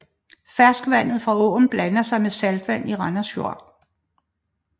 Ferskvandet fra åen blander sig med saltvand i Randers Fjord